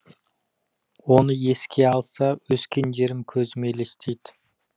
оны еске алса өскен жерім көзіме елестейді